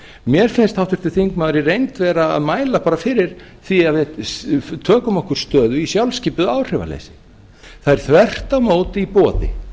mér finnst háttvirtur þingmaður í reynd vera að mæla bara fyrir því að við tökum okkur stöðu í sjálfskipuðu áhrifaliði það er þvert á móti í boði